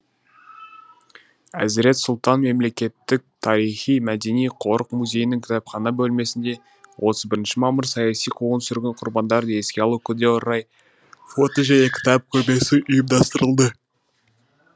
әзірет сұлтан мемлекеттік тарихи мәдени қорық музейінің кітапхана бөлмесінде отыз бірінші мамыр саяси қуғын сүргін құрбандарын еске алу күніне орай фото және кітап көрмесі ұйымдастырылды